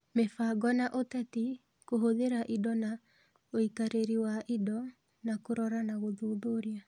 Mĩbango na ũteti, kũhũthĩra indo na ũikarĩri wa indo, na kũrora na gũthuthuria.